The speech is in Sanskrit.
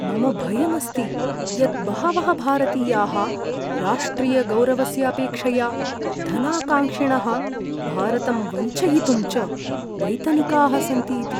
मम भयम् अस्ति यत् बहवः भारतीयाः राष्ट्रियगौरवस्य अपेक्षया धनाकाङ्क्षिणः, भारतं वञ्चयितुं च वैतनिकाः सन्ति इति।